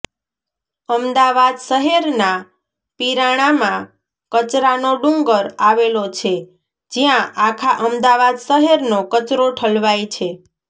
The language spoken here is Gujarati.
અમદાવાદ શહેરના પિરાણામાં કચરાનો ડુંગર આવેલો છે જ્યાં આખા અમદાવાદ શહેરનો કચરો ઠલવાય છે